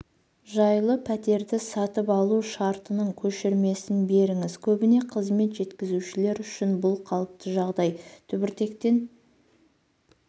жайлы пәтерді сатып алу шартының көшірмесін беріңіз көбіне қызмет жеткізушілер үшін бұл қалыпты жағдай түбіртектен